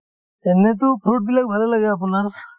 এনেতো fruit বিলাক ভালে লাগে আপোনাৰ